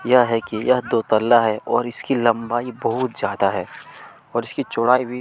यह है की यह तो पाला है और इसकी लंबाई बहुत ज्यादा है और इसकी चौड़ाई भी--